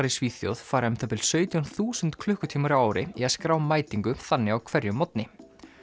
í Svíþjóð fara um það bil sautján þúsund klukkutímar á ári í að skrá mætingu þannig á hverjum morgni